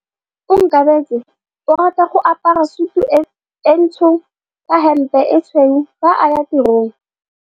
Onkabetse o rata go apara sutu e ntsho ka hempe e tshweu fa a ya tirong.